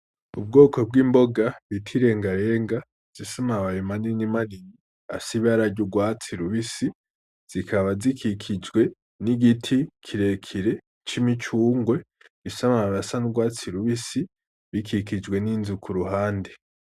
Ubwoko bw'imboga bita irengarenga ,zifise amababi manini manini afise ibara ry'urwatsi rubisi, zikaba zikikijwe n'igiti kirekire c'imicungwe, gifise amababi asa n'urwatsi rubisi ,bikikijwe n'inzu kuruhande.